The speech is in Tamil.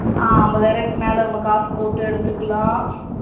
அஹ் அம்பதாயிர ரூபாக்கு மேல வந்து காசு போட்டு எடுத்துகிலாம்.